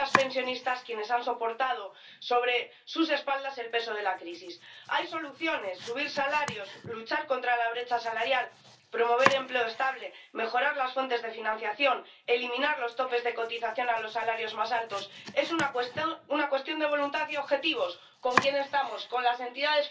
La Commission européenne dit économisez cinq milliards en alignant les régimes de retraite Macron s'applique et engage la France dans une réforme de retraites à points qui fera que les pensions pourront baisser et que les grands gagnants seront les marchés, les banques et les assurances. Cette belle